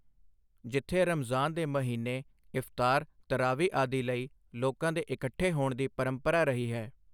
ਜਿੱਥੇ ਰਮਜ਼ਾਨ ਦੇ ਮਹੀਨੇ ਇਫ਼ਤਾਰ, ਤਰਾਵੀ ਆਦਿ ਲਈ ਲੋਕਾਂ ਦੇ ਇਕੱਠੇ ਹੋਣ ਦੀ ਪਰੰਪਰਾ ਰਹੀ ਹੈ।